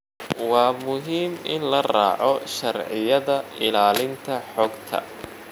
Waa muhiim in la raaco sharciyada ilaalinta xogta.